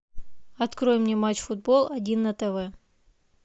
открой мне матч футбол один на тв